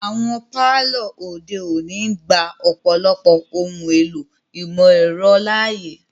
Awọn palọ ode oni ngba ọ̀pọlọpọ ohun èlò imọ-ẹrọ laaye.